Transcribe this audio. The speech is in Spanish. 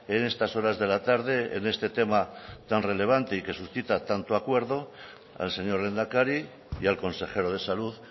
en estas horas de la tarde en este tema tan relevante y que suscita tanto acuerdo al señor lehendakari y al consejero de salud